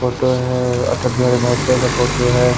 Photo है अटल बिहारी बाजपाई का photo हैं।